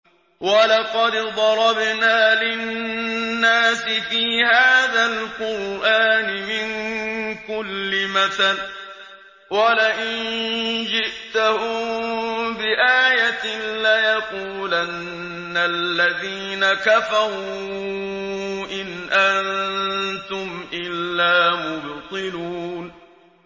وَلَقَدْ ضَرَبْنَا لِلنَّاسِ فِي هَٰذَا الْقُرْآنِ مِن كُلِّ مَثَلٍ ۚ وَلَئِن جِئْتَهُم بِآيَةٍ لَّيَقُولَنَّ الَّذِينَ كَفَرُوا إِنْ أَنتُمْ إِلَّا مُبْطِلُونَ